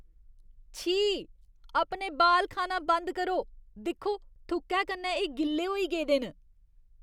छी! अपने बाल खाना बंद करो। दिक्खो, थुक्कै कन्नै एह् गिल्ले होई गेदे न।